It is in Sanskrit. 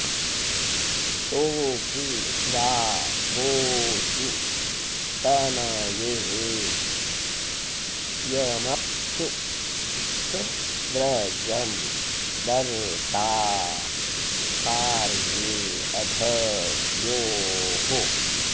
तो॒के वा॒ गोषु॒ तन॑ये॒ यम॒प्सु स व्र॒जं दर्ता॒ पार्ये॒ अध॒ द्योः